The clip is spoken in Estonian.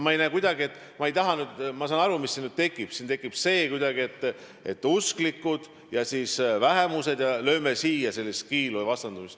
Ma saan aru, mis siin nüüd tekkida võib: siin tekib ehk see vastandamine, et lööme kiilu usklike ja teiste vähemuste vahele.